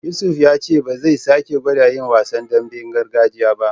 Yusuf ya ce ba zai sake gwada yin wasan damben gargajiya ba.